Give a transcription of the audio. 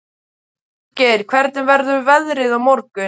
Friðgeir, hvernig verður veðrið á morgun?